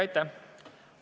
Aitäh!